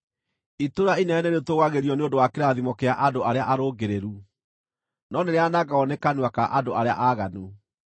Itũũra inene nĩrĩtũũgagĩrio nĩ ũndũ wa kĩrathimo kĩa andũ arĩa arũngĩrĩru, no nĩrĩanangagwo nĩ kanua ka andũ arĩa aaganu.